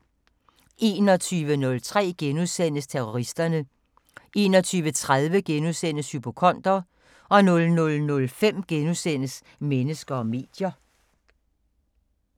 21:03: Terroristerne * 21:30: Hypokonder * 00:05: Mennesker og medier *